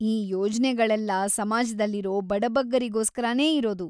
ಈ ಯೋಜ್ನೆಗಳೆಲ್ಲ ಸಮಾಜ್ದಲ್ಲಿರೋ ಬಡಬಗ್ಗರಿಗೋಸ್ಕರನೇ ಇರೋದು.